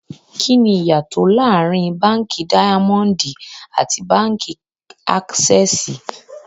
Kíni íyá tó laárìn Bankí Daimọndì àti Bankí Aksẹ́sì?